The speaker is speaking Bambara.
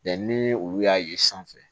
ni olu y'a ye sanfɛ